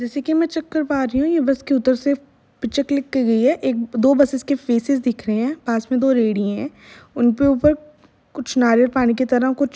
जैसे कि मैं चेक कर पा रही हूँ ये बस के ऊधर से पिक्चर क्लिक कर रही है एक दो बसेस के फेसेस दिख रहे हैं पास मे दो रेढ़ी हैं। उनके ऊपर कुछ नारियल पानी की तरह कुछ --